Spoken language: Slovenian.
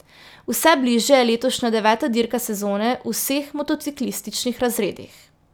Vse bližje je letošnja deveta dirka sezone v vseh motociklističnih razredih.